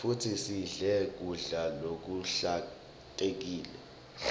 futsi sidle kudla lokuhlantekile